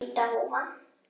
Hvíta húfan.